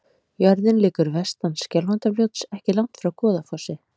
Jörðin liggur vestan Skjálfandafljóts, ekki langt frá Goðafossi.